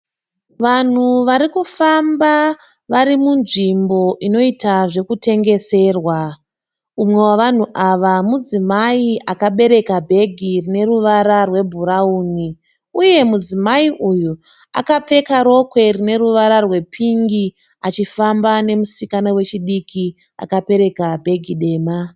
Vanhu vari kufamba vari munzvimbo inoita zvekutengeserwa. Umwe wevanhu ava mudzimai akabereka bhegi rine ruvara rwebhurawuni uye mudzimai uyu akapfeka rokwe rine ruvara rwepingi achifamba nemusikana wechidiki akabereka bhegi dema.